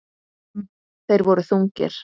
Þeir voru þungir.